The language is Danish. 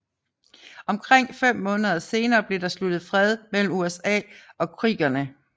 Omkring fem måneder senere blev der sluttet fred mellem USA og creekerne